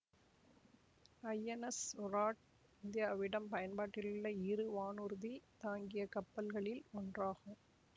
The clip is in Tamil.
ஐ என் எஸ் விராட் இந்தியாவிடம் பயன்பாட்டிலுள்ள இரு வானூர்தி தாங்கிய கப்பல்களில் ஒன்றாகும்